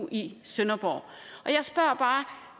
i sønderborg jeg spørger bare